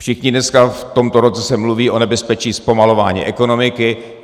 Všichni dneska - v tomto roce se mluví o nebezpečí zpomalování ekonomiky.